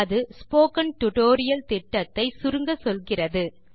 அது spoken tutorial திட்டத்தை சுருங்கச்சொல்கிறது